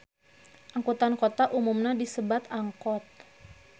Angkutan kota umumna disebat angkot